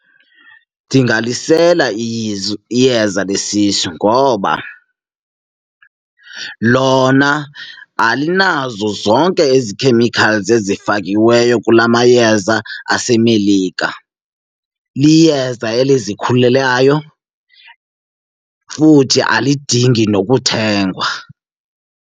Ndingalisela iyeza lesisu ngoba lona alinazo zonke ezi chemicals ezifakiweyo kula mayeza aseMelika, liyeza elizikhulelayo futhi alidingi nokuthengwa.